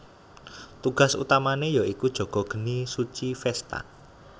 Tugas utamane ya iku jaga geni suci Vesta